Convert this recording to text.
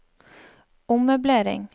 ommøblering